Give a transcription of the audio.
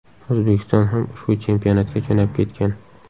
O‘zbekiston ham ushbu chempionatga jo‘nab ketgan.